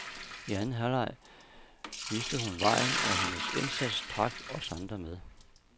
I anden halvleg viste hun vejen, og hendes indsats trak os andre med.